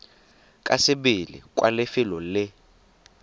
ka sebele kwa lefelo le